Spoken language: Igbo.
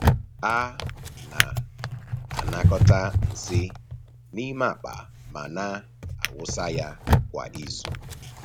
A na-anakọta nsị n’ime akpa ma na-awụsa ya kwa izu.